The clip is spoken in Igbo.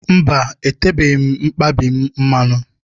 Mba, etebeghị m mkpabi m mmanụ.